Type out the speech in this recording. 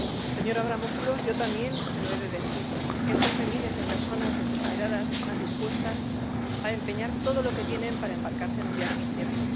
Señor Avramopoulos, yo también se lo he de decir cientos de miles de personas desesperadas están dispuestas a empeñar todo lo que tienen para embarcarse en un viaje incierto.